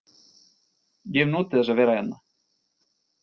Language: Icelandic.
Ég hef notið þess að vera hérna.